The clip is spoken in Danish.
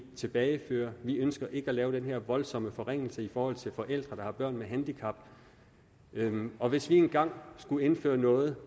tilbageføre det vi ønsker ikke at lave den her voldsomme forringelse i forhold til forældre der har børn med handicap og hvis vi engang skulle indføre noget